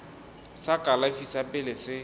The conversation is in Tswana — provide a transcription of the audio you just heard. sa kalafi sa pele se